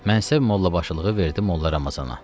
Mənsəb mollabaşılığı verdi Molla Ramazana.